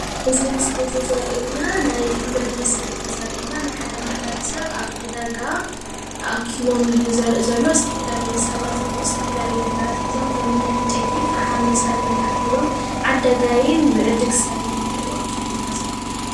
እዚ ምስሊ እዚይ ዘርእየና ናይ ሕብረተሰብ እዬ ዘርእየና። ናይ ሓደ ማሔብረሰብ ዕዳጋ ተኣኪቦም እዩ ዘርኢ ዘሎ። ዝተፈላለዩ ሰባት ነገራት ሒዞሞ ኸሞኒ ዕንጨይቲ፣ ፈሓም መሳሊ ነገር ሒዞም ዝዕድጉ እውን እኒሀው።